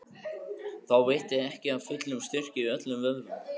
Þá veitti ekki af fullum styrk í öllum vöðvum.